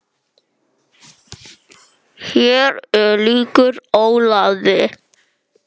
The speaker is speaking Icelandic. Hér lýkur Ólafi.